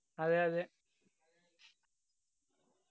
അതെയതെ